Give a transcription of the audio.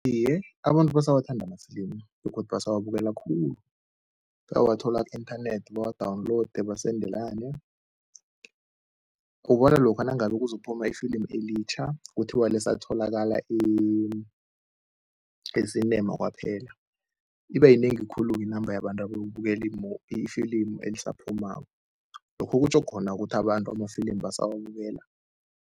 Iye, abantu basawathanda amafilimu begodu basawabukela khulu. Bayawathola ku-inthanethi bawa-download, basendelane. Ubona lokha nangabe kuzokuphuma ifilimu elitjha, kuthiwa lisatholakala e-cinema kwaphela, iba yinengi khulu-ke inamba yabantu abayokubukela ifilimu elisaphumako, lokhu kutjho khona ukuthi abantu amafilimu basawabukela.